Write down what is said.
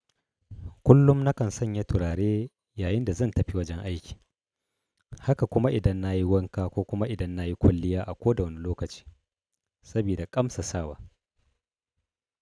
Kullum nakan sanya turare yayin da zan tafi wajen aiki, haka kuma idan na yi wanka ko kuma idan na yi kwalliya a ko da wane lokaci saboda ƙamsasawa.